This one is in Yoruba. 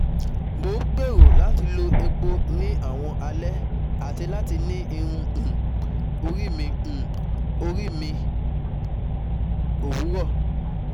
Mo n gbero lati lo epo ni awọn alẹ ati lati ni irun um ori ni um ori ni owurọ